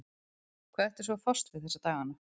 Hvað ertu svo að fást við þessa dagana?